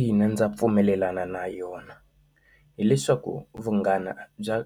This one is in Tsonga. Ina, ndza pfumelelana na yona hileswaku vunghana bya